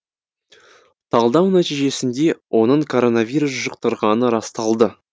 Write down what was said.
талдау нәтижесінде оның коронавирус жұқтырғаны расталды